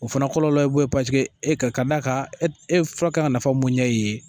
O fana kɔlɔlɔ be bɔ yen paseke e ka ka d'a ka e e fura kan nafa mun ɲɛ e ye